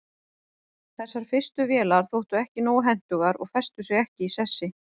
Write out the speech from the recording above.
þessar fyrstu vélar þóttu ekki nógu hentugar og festu sig ekki í sessi